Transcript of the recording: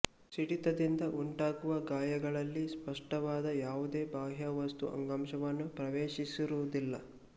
ಸಿಡಿತದಿಂದ ಉಂಟಾಗುವ ಗಾಯಗಳಲ್ಲಿ ಸ್ಪಷ್ಟವಾದ ಯಾವುದೇ ಬಾಹ್ಯವಸ್ತು ಅಂಗಾಂಶವನ್ನು ಪ್ರವೇಶಿಸಿರುವುದಿಲ್ಲ